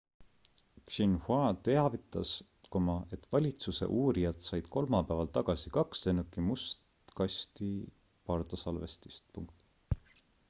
xinhua teavitas et valitsuse uurijad said kolmapäeval tagasi kaks lennuki must kasti pardasalvestist